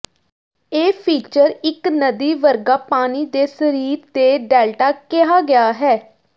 ਇਹ ਫੀਚਰ ਇੱਕ ਨਦੀ ਵਰਗਾ ਪਾਣੀ ਦੇ ਸਰੀਰ ਦੇ ਡੈਲਟਾ ਕਿਹਾ ਗਿਆ ਹੈ